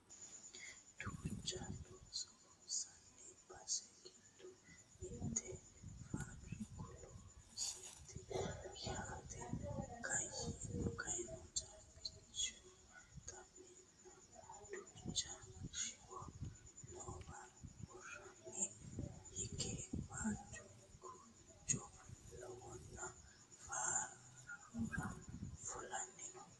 duucha looso loonsanni bas giddo mitte faabiriku loosooti yaate koyeno caabichu xaweenna duucha shiwo noowa woroonni hige waajju gunjo lawanno foorari fulanni no